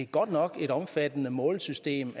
godt nok et omfattende målesystem